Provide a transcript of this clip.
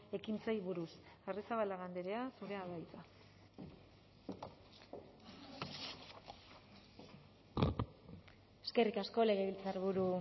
ekintzei buruz arrizabalaga andrea zurea da hitza eskerrik asko legebiltzarburu